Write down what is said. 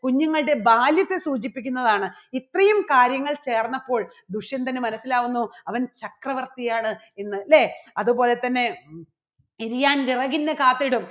കുഞ്ഞുങ്ങളുടെ ബാല്യത്തെ സൂചിപ്പിക്കുന്നതാണ്. ഇത്രയും കാര്യങ്ങൾ ചേർന്നപ്പോൾ ദുഷ്യന്തന് മനസ്സിലാകുന്നു അവൻ ചക്രവർത്തി ആണ് എന്ന് അല്ലേ? അതുപോലെതന്നെ കാത്തിടും